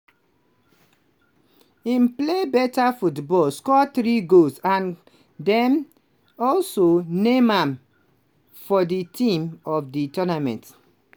im play beta football score three goals and dem also name am for di team of di tournament.